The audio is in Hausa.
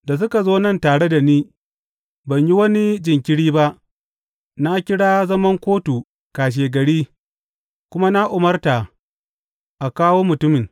Da suka zo nan tare da ni, ban yi wani jinkiri ba, na kira zaman kotu kashegari kuma na umarta a kawo mutumin.